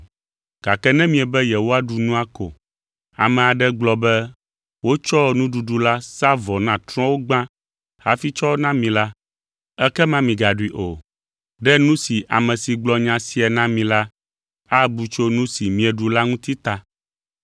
Gake ne miebe yewoaɖu nua ko, ame aɖe gblɔ be wotsɔ nuɖuɖu la sa vɔ na trɔ̃wo gbã hafi tsɔ na mi la, ekema migaɖui o, ɖe nu si ame si gblɔ nya sia na mi la abu tso nu si mieɖu la ŋuti ta.